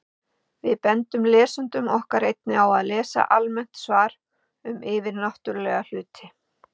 Við bendum lesendum okkar einnig á að lesa almennt svar um yfirnáttúrulega hluti.